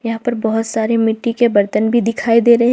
यहां पर बहोत सारे मिट्टी के बर्तन भी दिखाई दे रहे--